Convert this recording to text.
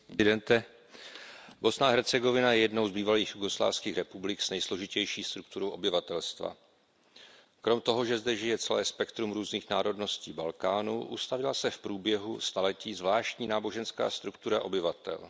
Pane předsedající, Bosna a Hercegovina je jednou z bývalých jugoslávských republik s nejsložitější strukturou obyvatelstva. Kromě toho, že zde žije celé spektrum různých národností Balkánu, ustavila se v průběhu staletí zvláštní náboženská struktura obyvatel.